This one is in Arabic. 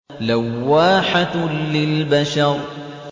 لَوَّاحَةٌ لِّلْبَشَرِ